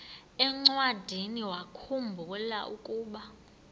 encwadiniwakhu mbula ukuba